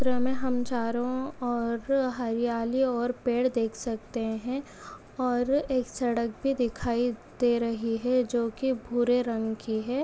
चित्र मे हम चारों और हरियाली और पेड़ देख सकते है और एक सड़क भी दिखाई दे रही है जो की भूरे रंग कि है।